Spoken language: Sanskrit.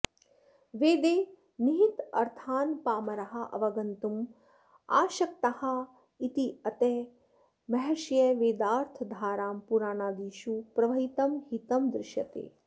वेदे निहितार्थान् पामराः अवगन्तुम् आशक्ताः इत्यतः महर्षयः वेदार्थधारां पुराणादिषु प्रवहितं हितं दृष्यते